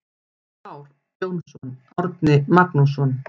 Már Jónsson, Árni Magnússon.